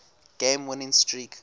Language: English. game winning streak